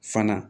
Fana